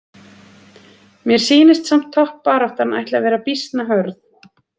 Mér sýnist samt toppbaráttan ætli að vera býsna hörð!